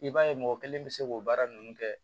I b'a ye mɔgɔ kelen bɛ se k'o baara ninnu kɛ